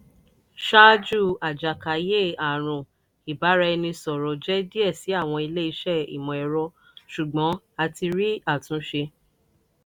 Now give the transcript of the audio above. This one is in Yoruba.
"ṣaaju ajakaye-arun ibaraẹnisọrọ jẹ diẹ si awọn ile-iṣẹ imọ-ẹrọ ṣugbọn a ti rii atunṣe."